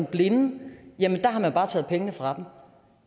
blinde har man bare taget pengene fra